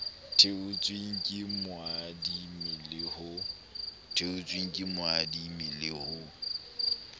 theotsweng ke moadimi le ho